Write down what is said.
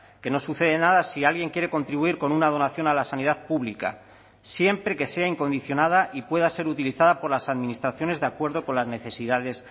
que no sucede nada si alguien quiere contribuir con una donación a la sanidad pública siempre que sea incondicionada y pueda ser utilizada por las administraciones de acuerdo con las necesidades